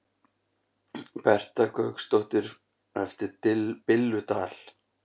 Berta Gauksdóttir eftir Billu Dal